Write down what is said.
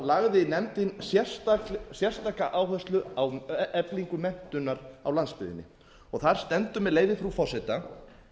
lagði nefndin sérstaka áherslu á eflingu menntunar á landsbyggðinni þar stendur með leyfi frú forseta